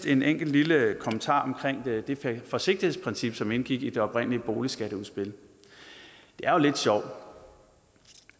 en enkelt lille kommentar om det forsigtighedsprincip som indgik i det oprindelige boligskatteudspil det er jo lidt sjovt